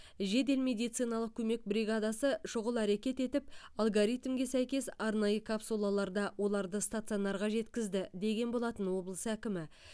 жедел медициналық көмек бригадасы шұғыл әрекет етіп алгоритмге сәйкес арнайы капсулаларда оларды стационарға жеткізді деген болатын облыс әкімі